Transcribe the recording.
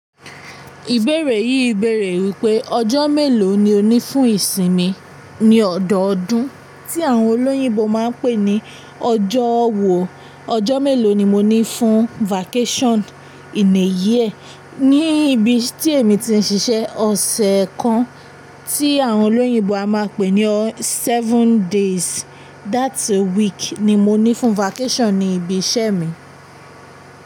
Ìbéèrè yìí béèrè wípé ọjọ́ mélòó ni o ní fún ìsinmi ní ọ̀dọọdún tí àwọn olóyìnbo máa ń pè ní ọjọ́ wo? Ọjọ́ mélòó ni mo ní fún vacation in a year ní ibi tí èmi ti ń ṣiṣẹ́ ọ̀sẹ̀ kan tí àwọn olóyìnbo a máa pè ní seven days that a week ni mo ní fún vacation ní ibi iṣẹ́ mi.